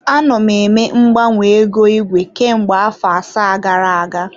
Anọ m eme mgbanwe ego igwe kemgbe afọ asaa gara aga.